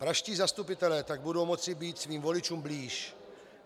Pražští zastupitelé tak budou moci být svým voličům blíž.